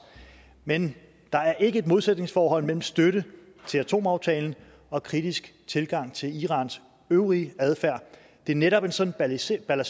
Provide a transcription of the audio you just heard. men der er ikke et modsætningsforhold mellem støtte til atomaftalen og kritisk tilgang til irans øvrige adfærd det er netop en sådan balanceret